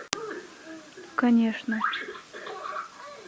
конечно